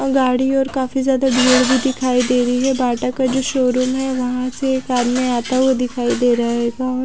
गाड़ी और काफी ज्यादा भीड़ भी दिखाई दे रही है बाटा का जो शोरूम है वहां से एक आदमी आता हुआ दिखाई दे रहा होगा और--